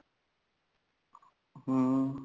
ਹਮ